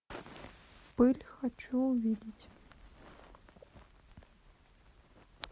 пыль хочу увидеть